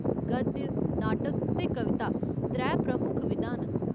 गद्य, नाटक ते कविता त्रै प्रमुख विधां न।